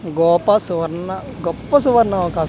గోపా సువర్ణ గొప్ప సువర్ణ సువర్ణ ఆవకాశం .